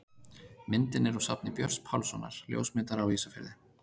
Myndin er úr safni Björns Pálssonar, ljósmyndara á Ísafirði.